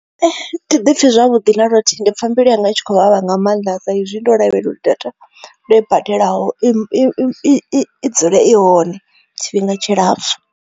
Ee thi ḓi pfhi zwavhuḓi na luthihi ndi pfha mbilu yanga i tshi kho vhavha nga maanḓa sa izwi ndo lavhelela uri data ndo i badelaho i, i, i, i dzule i hone tshifhinga tshilapfhu.